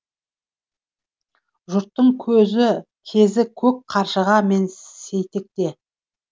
жұрттың кезі көк қаршыға мен сейтекте